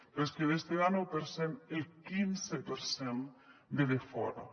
però és que d’este denou per cent el quinze per cent ve de fora